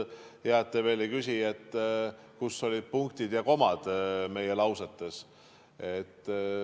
Hea, et te veel ei küsi, kus olid punktid ja komad meie lausetes.